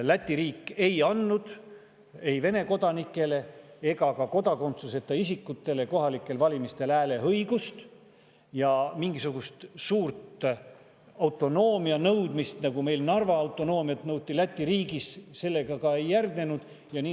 Läti riik ei andnud ei Vene kodanikele ega ka kodakondsuseta isikutele kohalikel valimistel hääleõigust, aga mingisugust suurt autonoomia nõudmist, nagu meil Narva autonoomiat nõuti, Läti riigis ei järgnenud.